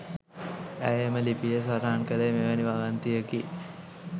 ඇය එම ලිපියේ සටහන් කලේ මෙවැනි වගන්තියෙකි.